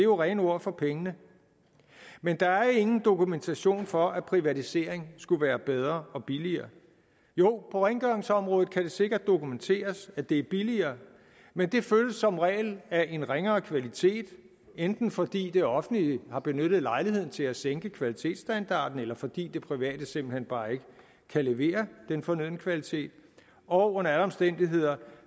jo rene ord for pengene men der er ingen dokumentation for at privatisering skulle være bedre og billigere jo på rengøringsområdet kan det sikkert dokumenteres at det er billigere men det følges som regel af en ringere kvalitet enten fordi det offentlige har benyttet lejligheden til at sænke kvalitetsstandarden eller fordi det private simpelt hen bare ikke kan levere den fornødne kvalitet og under alle omstændigheder